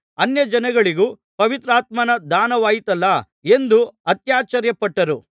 ಅನ್ಯಜನಗಳಿಗೂ ಪವಿತ್ರಾತ್ಮನ ದಾನವಾಯಿತಲ್ಲಾ ಎಂದು ಅತ್ಯಾಶ್ಚರ್ಯಪಟ್ಟರು